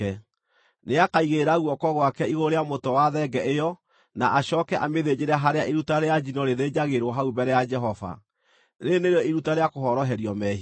Nĩakaigĩrĩra guoko gwake igũrũ rĩa mũtwe wa thenge ĩyo na acooke amĩthĩnjĩre harĩa iruta rĩa njino rĩthĩnjagĩrwo hau mbere ya Jehova. Rĩĩrĩ nĩrĩo iruta rĩa kũhoroherio mehia.